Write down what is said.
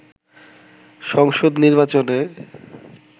সংসদ নির্বাচনে